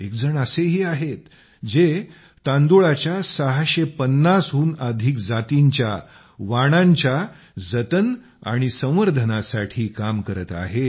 एकजण असेही आहेत जे तांदुळाच्या 650 हून अधिक जातींच्या वाणांच्या जतन आणि संवर्धनासाठी काम करीत आहेत